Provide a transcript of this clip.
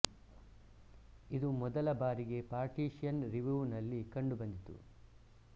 ಇದು ಮೊದಲ ಬಾರಿಗೆ ಪಾರ್ಟಿಷಿಯನ್ ರಿವ್ಯೂ ನಲ್ಲಿ ಕಂಡು ಬಂದಿತು